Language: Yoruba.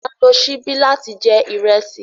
A n lo sibi lati jẹ irẹsi